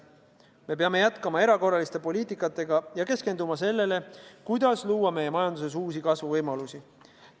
Me peame jätkama erakorralise poliitikaga ja keskenduma sellele, kuidas luua meie majanduses uusi kasvuvõimalusi.